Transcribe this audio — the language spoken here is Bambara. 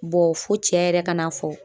Bɔ fo cɛ yɛrɛ ka n'a fɔ